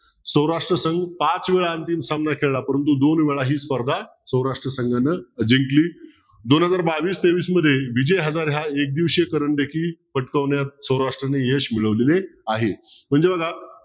सौराष्ट्र संघ पाच वेळा अंतिम सामना खेळाला परंतु दोन वेळा ही स्पर्धा सौराष्ट्र संघाने जिंकली. दोन हजार बावीस तेवीस मध्ये विजय हार ह्या एक देशीय देखील पटकावण्यात स्वराष्ट्राने यश मिळवलेले आहे. म्हणजे बघा.